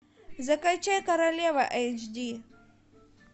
закачай королева эйч ди